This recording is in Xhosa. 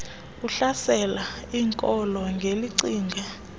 ohlasela iinkolo ngelicinga